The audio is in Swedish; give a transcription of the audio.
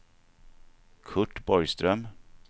Kurt Borgström